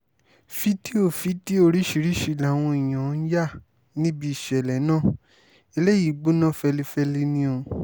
fídíò fídíò oríṣiríṣiì làwọn èèyàn ń yà níbi ìṣẹ̀lẹ̀ náà eléyìí gbóná fẹlifẹli ni o